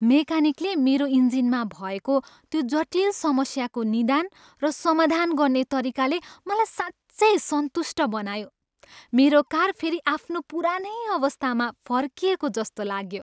मेकानिकले मेरो इन्जिनमा भएको त्यो जटिल समस्याको निदान र समाधान गर्ने तरिकाले मलाई साँच्चै सन्तुष्ट बनायो, मेरो कार फेरि आफ्नो पुरानै अवस्थामा फर्किएको जस्तो लाग्यो।